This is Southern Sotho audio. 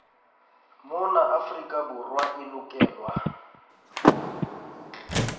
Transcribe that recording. mona afrika borwa e lokelwa